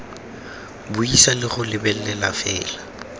buisa le go lebelela fela